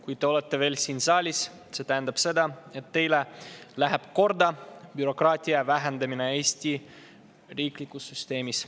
Kui te olete veel siin saalis, siis see tähendab seda, et teile läheb korda bürokraatia vähendamine Eesti riiklikus süsteemis.